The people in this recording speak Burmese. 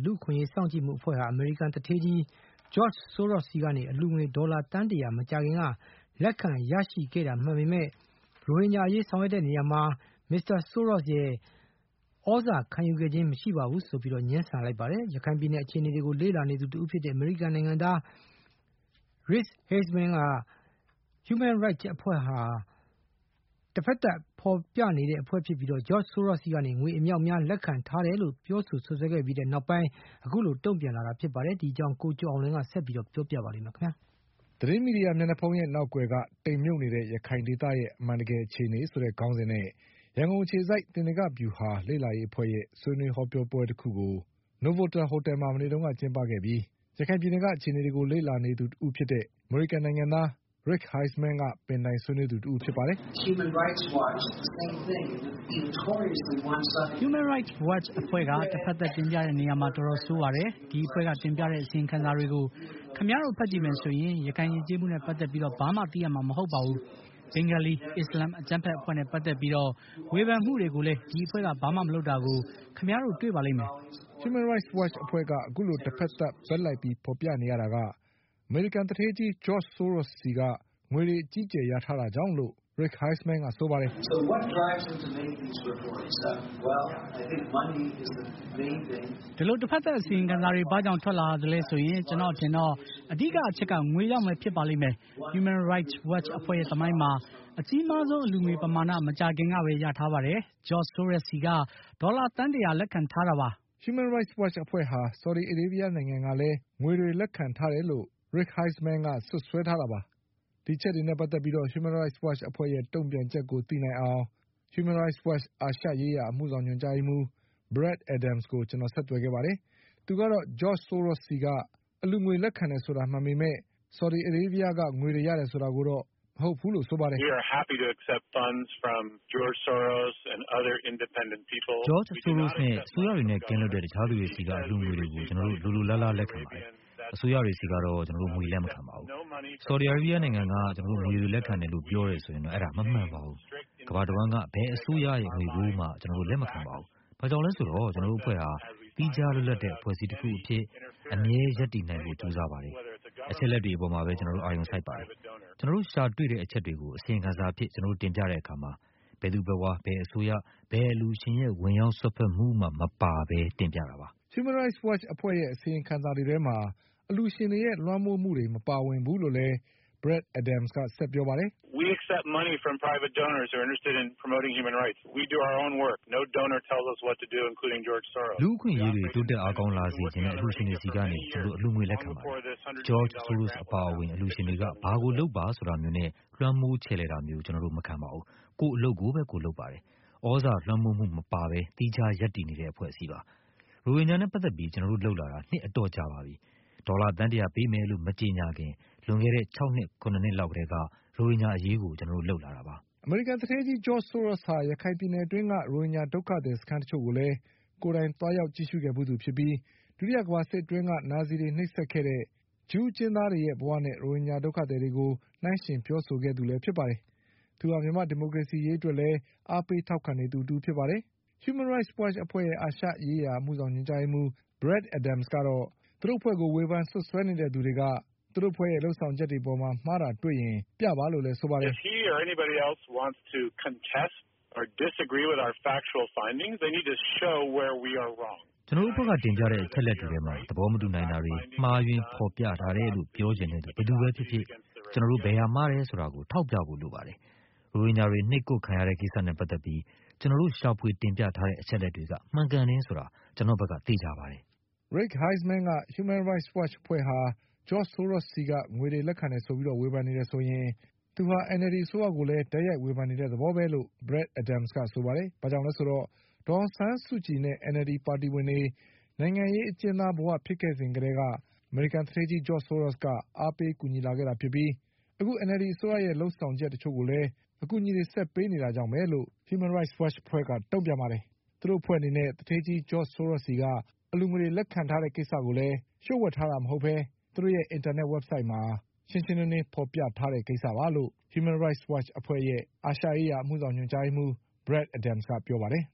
လူ့အခွင့်အရေးစောင့်ကြည့်မှုအဖွဲ့ဟာ အမေရိကန်သူဌေးကြီး George Soros ဆီက အလှုငွေတွေ ဒေါ်လာသန်း ၁၀၀ မကြာခင်က လက်ခံရရှိခဲ့တာမှန်ပေမဲ့ ရိုဟင်ဂျာအရေးဆောင်ရွက်တဲ့နေရာမှာ မစ္စတာ Soros ရဲ့ သြဇာ ခံယူခဲ့ခြင်းမရှိဘူးလို့ ငြင်းဆန်လိုက်ပါတယ်။ ရခိုင်ပြည်နယ် အခြေအနေတွေကို လ့လာနေသူတဦးဖြစ်တဲ့ အမေရိကန်နိုင်ငံသား Rick Heizman က Human Rights Watch အဖွဲ့ဟာ တဖက်သတ်ဖေါ်ပြနေတဲ့ အဖွဲ့ ဖြစ်ပြီး George Soros ဆီက ငွေတွေ အမြောက်အများ လက်ခံထားတယ်လို့ ပြောဆိုခဲ့ပြီးနောက်ပိုင်း အခုလို တုံ့ပြန်လာတာပါ။ ဒီအကြောင်း ကိုကျော်အောင်လွင်က တင်ပြပေးထားပါတယ်။ သတင်းမီဒီယာမျက်နှာဖုံးရဲ့နောက်ကွယ်က တိမ်မြုပ်နေတဲ့ ရခိုင်ဒေသရဲ့ အမှန်တကယ်အခြေအနေ ဆိုတဲ့ ခေါင်းစဉ်နဲ့ ရန်ကုန်အခြေစိုက် သေနင်္ဂမဟာဗျူဟာ လေ့လာရေးအဖွဲ့ရဲ့ ဆွေးနွေးဟောပြောပွဲ တခုကို နိုဗိုတလ် ဟိုတယ်မှာ မနေ့ ကကျင်းပခဲ့ပြီး ရခိုင်ပြည်နယ်က အခြေအနေတွေကို လေ့လာ နေသူ တဦးဖြစ်တဲ့ အမေရိကန် နိုင်ငံသား Rick Heizman က ပင်တိုင်ဆွေးနွေးသူတဦး ဖြစ်ပါတယ်။ “Human Rights Watchအဖွဲ့က တဘက်သတ်တင်ပြတဲ့နေရာမှာ တော်တော်ဆိုးပါတယ်။ ဒီအဖွဲ့က တင်ပြတဲ့ အစီရင်ခံစာတွေကို ခင်ဗျားတို့ဖတ်ကြည့်မယ်ဆိုရင် ရခိုင်ယဉ်ကျေးမှုနဲ့ပတ်သက်ပြီး ဘာမှ သိရမှာမဟုတ်ပါဘူး။ ဘင်္ဂါလီ အစ္စလာမ် အကြမ်းဘက်အဖွဲ့နဲ့ပတ်သက်ပြီး ဝေဖန်မှုတွေကိုလည်း ဒီအဖွဲ့က ဘာမှမလုပ်တာကို ခင်ဗျားတို့တွေ့ပါလိမ့်မယ်။” Human Rights Watch အဖွဲ့က အခုလိုတဖက်သတ် ဘက်လိုက်ပြီးဖေါ်ပြနေရတာက အမေရိကန် သူဌေးကြီး George Soros ဆီက ငွေတွေအကြီးအကျယ်ရထားတာကြောင့်လို့ Rick Heizman က ဆိုပါတယ်။ “ဒီလိုတဘက်သတ်အစီရင်ခံစာတွေဘာကြောင့်ထွက်လာရသလဲဆိုရင် ကျနော့်အထင်တော့ အဓိက အချက်က ငွေ ကြောင့်ပဲဖြစ်ပါလိမ့်မယ်။ Human Rights Watch အဖွဲ့ရဲ့သမိုင်းမှာ အကြီးမားဆုံး အလှူငွေပမာဏ မကြာခင်ကပဲ ရထားပါတယ်။ ဂျော့ချ်ဆိုးရိုစ်ဆီက ဒေါ်လာသန်းတရာ လက်ခံထားတာပါ။” Human Rights Watch အဖွဲ့ဟာ ဆော်ဒီအာရေးဗျနိုင်ငံကလည်း ငွေတွေလက်ခံထားတယ်လို့ Rick Heizman က စွပ်စွဲ ထားတာပါ။ ဒီအချက်တွေနဲ့ပတ်သက်ပြီး Human Rights Watch အဖွဲ့ရဲ့ တုံ့ပြန် ချက်ကို သိနိုင်အောင် Human Rights Watch အာရှရေးရာအမှုဆောင်ညွှန်ကြားရေးမှူး Brad Adams ကို ကျနော်ဆက်သွယ်ခဲ့ပါတယ်။ သူကတော့ George Soros ဆီက အလှူငွေ လက်ခံတယ် ဆိုတာမှန်ပေမဲ့ ဆော်ဒီအာရေးဗျက ငွေတွေ ရတယ်ဆိုတာတော့ မဟုတ်ဘူးလို့ဆိုပါ တယ်။ “George Soros နဲ့ တခြား အစိုးရနဲ့ကင်းလွတ်တဲ့ သူတွေဆီက အလှူငွေတွေကို ကျနော်တို့ လိုလို လားလား လက်ခံပါ တယ်။ အစိုးရတွေဆီကတော့ ကျနော်တို့ ငွေတွေလက်မခံပါဘူး။ ဆော်ဒီ အာရေးဗျနိုင်ငံက ငွေတွေ ကျနော်တို့ လက်ခံ တယ်လို့ပြောတယ်ဆိုရင်တော့ ဒါမမှန်ပါဘူး။ ကမ္ဘာ တဝှမ်းက ဘယ်အစိုးရရဲ့ငွေကိုမှ ကျနော်တို့ လက်မခံပါဘူး။ ဘာကြောင့်လဲဆိုတော့ ကျနော်တို့ အဖွဲ့ဟာ သီးခြားလွတ်လပ်တဲ့အဖွဲ့အစည်းတခု၊ သီးသန့်အဖြစ် အမြဲရပ်တည်နိုင်ဖို့ပဲ ကြိုးစားပါတယ်။ အချက်အလက်တွေအပေါ်မှာပဲ ကျနော်တို့ အာရုံစိုက်ပါ တယ်။ ကျနော်တို့ရှာတွေ့တဲ့အချက်တွေကို အစီရင် ခံစာအဖြစ်ကျနော်တို့တင်ပြတဲ့အခါမှာ ဘယ်သူ ဘယ်ဝါ၊ ဘယ်အစိုးရ၊ ဘယ်အလှူရှင်ရဲ့ ဝင်ရောက်စွက်ဖက်မှုတွေ မပါဘဲ တင်ပြပါတယ်။” Human Rights Watch အဖွဲ့ရဲ့ အစီရင်ခံစာတွေထဲမှာ အလှူရှင်တွေရဲ့ လွှမ်းမိုးမှုတွေမပါဝင်ဘူးလို့ လည်း Brad Adams ကဆက်ပြောပါတယ်။ “လူ့အခွင့်အရေးတွေတိုးတက်အားကောင်းလာစေချင်တဲ့ အလှူရှင်တွေဆီကနေ ကျနော်တို့ အလှုငွေ တွေ လက်ခံပါတယ်။ George Sorosအပါအဝင် အလှူရှင်တွေက ဘာကိုလုပ်ပါဆိုတာမျိုးနဲ့ လွှမ်းမိုး ချယ်လှယ် တာမျိုး ကျနော်တို့မခံပါဘူး။ ကိုယ့်ရဲ့ အလုပ်ကိုယ်ပဲ လုပ်ပါတယ်။ သြဇာလွှမ်းမိုးမှုမပါဘဲ သီးခြားရပ်တည်နေတဲ့ အဖွဲ့အစည်းပါ။ ရိုဟင်ဂျာနဲ့ပတ်သက် ပြီး ကျနော်တို့လုပ်လာတာ နှစ်တွေ အတော်ကြာပါပြီ။ ဒေါ်လာသန်းတရာ ပေးမယ်လို့ မကြေညာခင် လွန်ခဲ့တဲ့ ၆ နှစ်၊ ၇ နှစ် လောက် ကတည်းက ရိုဟင်ဂျာအရေးကို ကျနော်တို့ လုပ်လာတာပါ။” အမေရိကန်သူဌေးကြီး George Sorosဟာ ရခိုင်ပြည်နယ်အတွင်းက ရိုဟင်ဂျာဒုက္ခသည်စခန်း တချို့ကိုလည်း ကိုယ်တိုင် သွားရောက်ကြည့်ရှုခဲ့ဖူးသူဖြစ်ပြီး ဒုတိယကမ္ဘာ့စစ်အတွင်းက နာဇီတွေ နှိပ်စက်ခဲ့တဲ့ ဂျူးအကျဉ်း သား တွေရဲ့ဘဝနဲ့ ရိုဟင်ဂျာဒုက္ခသည်တွေကို နှိုင်းယှဉ်ပြောဆိုခဲ့တဲ့ သူလည်း ဖြစ်ပါတယ်။သူဟာ မြန်မာ့ဒီမိုကရေစီရေး အတွက်လည်း အားပေးထောက်ခံနေသူတဦး ဖြစ်ပါတယ်။ Human Rights Watch အဖွဲ့ရဲ့ အာရှရေးရာ အမှုဆောင် ညွှန်ကြားရေးမှူး Brad Adams ကတော့ သူတို့အဖွဲ့ကို ဝေဖန်နေသူတွေက သူတို့အဖွဲ့ရဲ့ လုပ်ဆောင်ချက်တွေ အပေါ်မှာ မှားတာတွေရှိရင် ပြပါလို့လည်းဆိုပါတယ်။ “ကျနော်တို့အဖွဲ့ကတင်ပြတဲ့အချက်အလက်တွေထဲမှာ သဘောမတူနိုင်တာတွေ၊ မှားယွင်းဖေါ်ပြ ထားတယ်လို့ ပြောချင်တဲ့သူ ဘယ်သူပဲဖြစ်ဖြစ် ကျနော်တို့ဘယ်ဟာမှားတယ်ဆိုတာကို ထောက်ပြဖို့ လိုပါတယ်။ ရိုဟင်ဂျာတွေ နှိပ်ကွပ်ခံခဲ့ရ တဲ့ကိစ္စနဲ့ပတ်သက်ပြီး ကျနော်တို့ရှာဖွေတင် ပြထားတဲ့ အချက် အလက်တွေက မှန်ကန်တယ်ဆိုတာ ကျနော့်ဘက်က သေချာပါတယ်။” Rick Heizman က Human Rights Watch အဖွဲ့ဟာ George Soros ဆီက ငွေတွေလက်ခံတယ် ဆိုပြီး ဝေဖန် နေတယ်ဆို ရင် သူဟာ NLD အစိုးရကိုလည်း တိုက်ရိုက်ဝေဖန်နေတဲ့သဘောပဲလို့ Human Rights Watch အဖွဲ့ရဲ့ Brad Adams က ဆိုပါတယ်။ ဘာကြောင့်လဲဆိုတော့ ဒေါ်အောင် ဆန်းစုကြည်နဲ့ NLD ပါတီဝင်တွေ နိုင်ငံရေးအကျဉ်းသားဘဝဖြစ်ခဲ့စဉ်ကတည်းက အမေရိကန် သူဌေးကြီး George Soros က အားပေးကူညီ လာခဲ့တာ ဖြစ်ပြီး အခု NLD အစိုးရရဲ့လုပ်ဆောင်ချက် တချို့ကိုလည်း အကူအညီဆက်ပေးနေတာကြောင့်ပဲလို့ Human Rights Watch အဖွဲ့က တုံ့ပြန်ပါ တယ်။ သူတို့အဖွဲ့ အနေနဲ့ George Soros ဆီက အလှူငွေ လက်ခံ ထားတဲ့ ကိစ္စဟာလည်း လျှို့ဝှက် ထားတာမဟုတ်ဘဲ သူတို့ရဲ့ အင်တာနက် ဝဘ်ဆိုဒ်မှာ ထင်ထင်ရှားရှား ဖေါ်ပြထားတယ်လို့ Human Rights Watch အဖွဲ့ရဲ့ အာရှရေးရာအမှုဆောင်ညွှန်ကြားရေးမှူး Brad Adams က ပြောပါတယ်